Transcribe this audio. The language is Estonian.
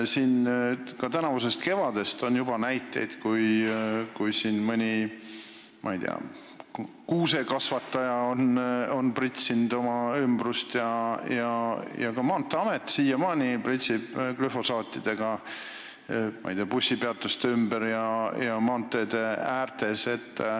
Juba tänavusest kevadest on näiteid, kus mõni kuusekasvataja on pritsinud oma ümbrust ja ka Maanteeamet siiamaani pritsib glüfosaate bussipeatuste ümber ja maanteede ääres.